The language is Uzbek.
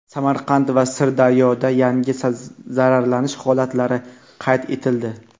Samarqand va Sirdaryoda yangi zararlanish holatlari qayd etildi.